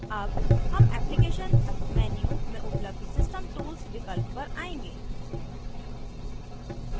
अब हम applications menu में उपलब्ध system tools विकल्प पर आएंगे